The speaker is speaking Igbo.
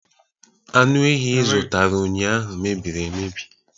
Anụ ehi ị zụtara ụnyahụ mebiri emebi